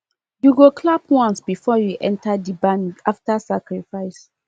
you go clap once before you enter the barn after sacrifice